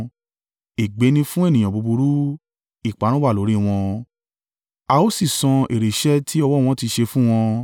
Ègbé ni fún ènìyàn búburú! Ìparun wà lórí i wọn, a ó sì san èrè iṣẹ́ tí ọwọ́ wọn ti ṣe fún wọn.